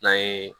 N'an ye